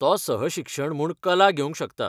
तो सहशिक्षण म्हूण कला घेवंक शकता